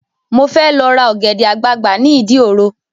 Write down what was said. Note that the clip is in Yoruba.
Mo fẹ́ lọ ra ọ̀gẹ̀dẹ̀ àgbagbà ni ìdí òro